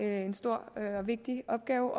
en stor og vigtig opgave